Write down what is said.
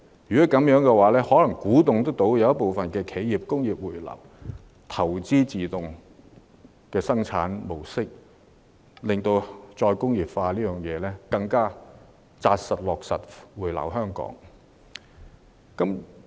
如此一來，或許能鼓勵部分企業回流，投資自動生產模式，從而推動再工業化，落實回流香港。